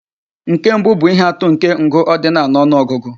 Nke mbụ bụ ihe atụ nke ngụ ordinal na ọnụ ọgụgụ.